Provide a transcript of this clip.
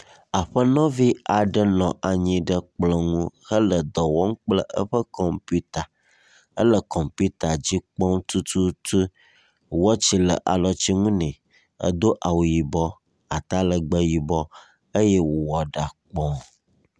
Aƒenɔvi aɖe nɔ anyi ɖe kplɔ ŋu hele dɔ wɔm kple eƒe kɔmpita. Ele kɔmpita dzi kpɔm tututu, wɔtsi le alɔtinu ne, edo awu yibɔ, atalegbe yibɔ eye wòwɔ ɖa kpɔ.